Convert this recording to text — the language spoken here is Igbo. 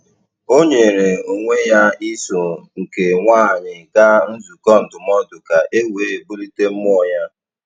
O nyere onwe ya iso nke nwaanyị gaa nzukọ ndụmọdụ ka e wee bulite mmụọ ya.